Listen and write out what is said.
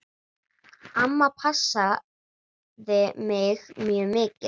Amma passaði mig mjög mikið.